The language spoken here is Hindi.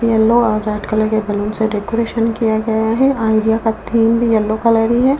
येलो और रेड कलर के बलून से डेकोरेशन किया गया है आईडिया का थीम भी येलो कलर ही है।